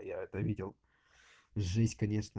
я это видел жесть конечно